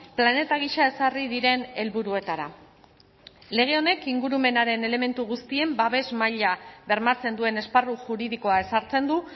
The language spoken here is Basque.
planeta gisa ezarri diren helburuetara lege honek ingurumenaren elementu guztien babes maila bermatzen duen esparru juridikoa ezartzen du